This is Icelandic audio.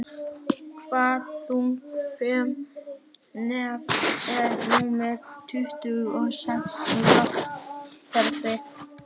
Hvaða þunga frumefni er númer tuttugu og sex í lotukerfinu?